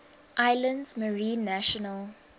islands marine national